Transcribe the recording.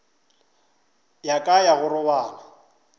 ya ka ya go robala